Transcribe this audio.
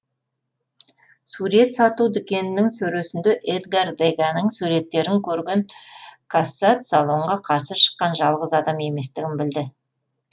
сурет сату дүкенінің сөресінде эдгар деганың суреттерін көрген кассат салонға қарсы шыққан жалғыз адам еместігін білді